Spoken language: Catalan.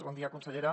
bon dia consellera